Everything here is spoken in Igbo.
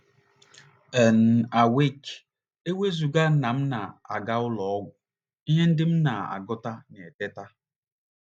n Awake! E wezụga na m na - aga ụlọ ọgwụ, ihe ndị m na - agụta na Teta!